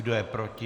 Kdo je proti?